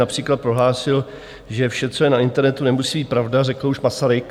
Například prohlásil, že vše, co je na internetu, nemusí být pravda, řekl už Masaryk.